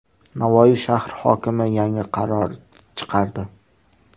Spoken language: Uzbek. Navoiy shahri hokimi yangi qaror chiqardi.